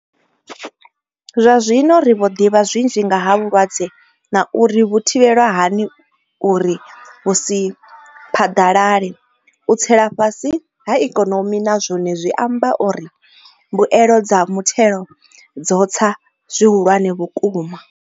Zwazwino ri vho ḓivha zwinzhi nga ha vhulwadze na uri ri vhu thivhela hani uri vhu si phaḓalale. U tsela fhasi ha ikonomi na zwone zwi amba uri mbuelo dza muthelo dzo tsa zwihulwane vhukuma.